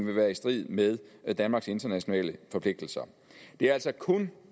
vil være i strid med danmarks internationale forpligtelser det er altså kun